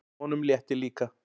Honum létti líka.